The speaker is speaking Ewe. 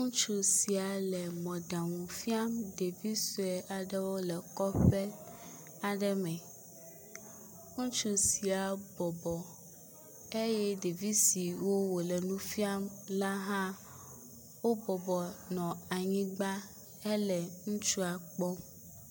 Ŋutsu sia le mɔɖaŋu fiam ɖevi sue aɖewo le kɔƒe aɖe me. Ŋutsu sia bɔbɔ eye ɖevi siwo wòle nu fiam la hã wobɔbɔ nɔ anyigba hele ŋutsua kpɔm.